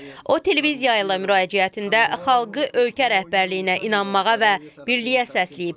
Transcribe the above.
O televiziya ilə müraciətində xalqı ölkə rəhbərliyinə inanmağa və birliyə səsləyib.